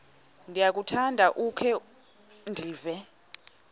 ndiyakuthanda ukukhe ndive